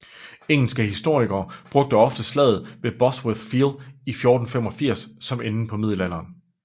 Engelske historikere bruger ofte slaget ved Bosworth Field i 1485 som enden på middelalderen